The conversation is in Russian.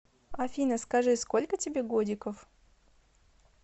афина скажи сколько тебе годиков